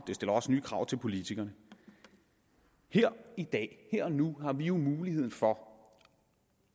det stiller også nye krav til politikerne her i dag her og nu har vi jo muligheden for